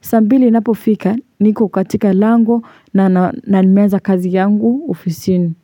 saa mbili inapofika niko katika lango na nimeanza kazi yangu ofisini.